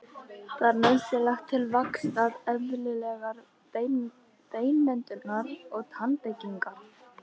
Það er nauðsynlegt til vaxtar, eðlilegrar beinmyndunar og tannbyggingar.